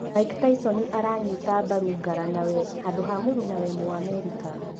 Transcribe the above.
Mike Tyson aranyita mbaru ngaranawe handũ ha mũrunawe mũ-Amerika